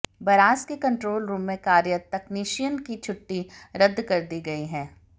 barrage के control room में कार्यरत तकनीशियन की छुट्टी रद्द कर दी गयी है